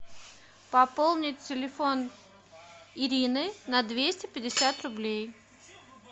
пополнить телефон ирины на двести пятьдесят рублей